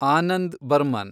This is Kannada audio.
ಆನಂದ್ ಬರ್ಮನ್